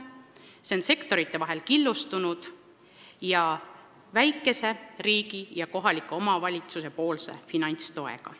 Süsteem on sektorite vahel killustunud ning riigi ja kohaliku omavalitsuse finantstugi on väike.